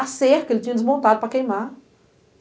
A cerca, ele tinha desmontado para queimar.